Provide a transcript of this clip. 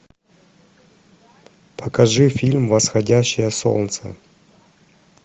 покажи фильм восходящее солнце